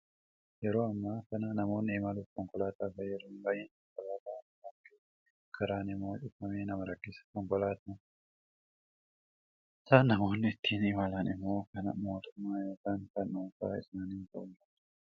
Yeroo amma kana namoonni imaluuf konkolaataa fayyadamu. Baay'ina konkolaataa irraa kan ka'e, karaan immoo cufamee nama rakkisa. Konkolaataan. Nammoonni ittiin imalan immoo kan mootummaa yookiin kan dhuunfaa isaanii ta'uu danda'a.